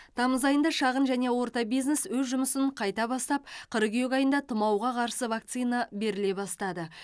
тамыз айында шағын және орта бизнес өз жұмысын қайта бастап қыркүйек айында тұмауға қарсы вакцина беріле бастады